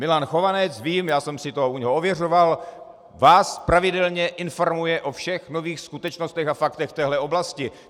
Milan Chovanec, vím, já jsem si to u něj ověřoval, vás pravidelně informuje o všech nových skutečnostech a faktech v téhle oblasti.